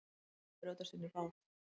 Reynt að brjótast inn í bát